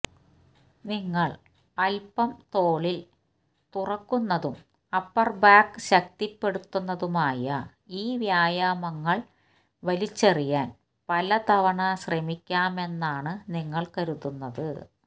നിങ്ങൾ അല്പം തോളിൽ തുറക്കുന്നതും അപ്പർ ബാക്ക് ശക്തിപ്പെടുത്തുന്നതുമായി ഈ വ്യായാമങ്ങൾ വലിച്ചെറിയാൻ പല തവണ ശ്രമിക്കാമെന്നാണ് നിങ്ങൾ കരുതുന്നത്